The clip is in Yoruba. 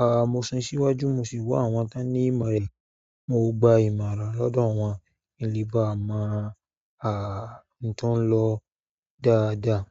A, mo sún síwájú mo sì wá àwọn tí ń ní ìmọ̀ rẹ̀. Mo gba ìmọ̀ran lọ́dọ̀ wọ́n ki n le bá mọ, a, nító n lọ dáadáa.